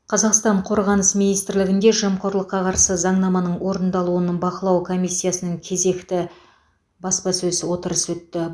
қазақстан қорғаныс министрлігінде жемқорлыққа қарсы заңнаманың орындалуын бақылау комиссиясының кезекті баспасөз отырысы өтті